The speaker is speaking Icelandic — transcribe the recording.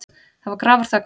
Það var grafarþögn.